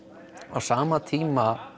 á sama tíma